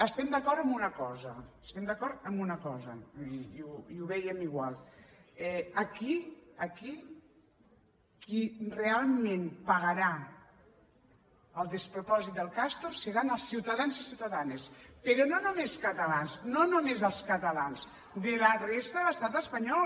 estem d’acord en una cosa estem d’acord en una cosa i ho vèiem igual aquí aquí qui realment pagarà el despropòsit del castor seran els ciutadans i ciutadanes però no només catalans no només els catalans de la resta de l’estat espanyol